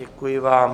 Děkuji vám.